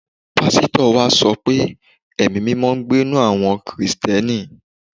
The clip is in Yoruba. Pásítọ̀ wa sọ pé Ẹ̀mí-mímọ ń gbé ninú àwọ Kìrìsìtíẹ́nì